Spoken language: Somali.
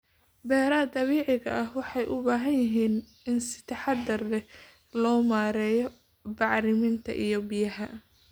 Beeraha dabiiciga ah waxay u baahan yihiin in si taxadar leh loo maareeyo bacriminta iyo biyaha.